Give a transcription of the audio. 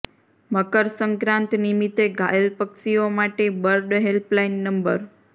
મકર સંક્રાંત નિમિત્તે ઘાયલ પક્ષીઓ માટે બર્ડ હેલ્પલાઇન નં